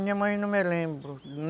Minha mãe não me lembro.